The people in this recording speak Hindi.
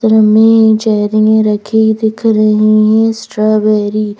में चहरियां रखी दिख रही है स्ट्रॉबेरी --